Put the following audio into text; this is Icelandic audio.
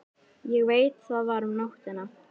Ég veit það var um nóttina.